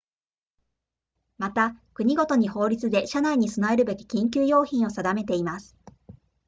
また国ごとに法律で車内に備えるべき緊急用品を定めています